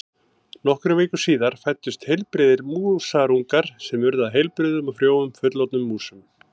Nokkrum vikum síðar fæddust heilbrigðir músarungar sem urðu að heilbrigðum og frjóum fullorðnum músum.